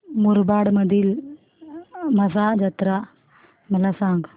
मुरबाड मधील म्हसा जत्रा मला सांग